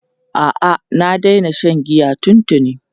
A'a, na daina shan giya tuntuni.